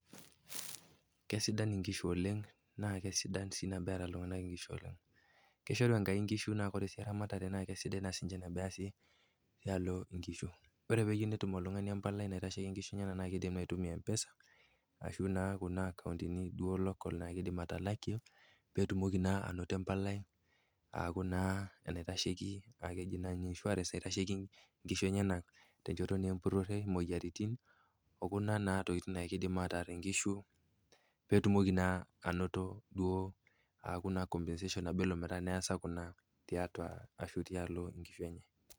Kesidan inkishu oleng naa esidan nabo eata iltung'ana inkishu oleng. Ishoru Enkai inkishu naa ore ramatare naa sidai nabo easi tialo inkishu. Ore peyeu netum oltung'ani empalai naitasheki inkishu enyena naa naa keidim aitumia empesa ashu naa kuna akauntini local naidim atalakie petumoki naa ainoto empalai aku naa keji ninye insurance naitasheki inkishu enyena tenchoto naa empurore, imoyiaritin o kuna naa tokitin naa keidim ataar inkishu aaku naa [s] compensation nabo elo neasa kuna tiatua ashu tialo inkishu enye.